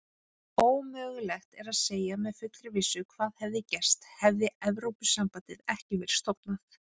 Ómögulegt er að segja með fullri vissu hvað hefði gerst hefði Evrópusambandið ekki verið stofnað.